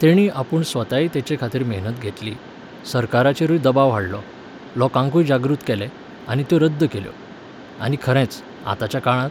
तेणी आपूण स्वताय तेचेखातीर मेहनत घेतली, सरकाराचेरूय दबाव हाडलो, लोकांकूय जागृत केलें, आनी त्यो रद्द केल्यो. आनी खरेंच, आतांच्या काळांत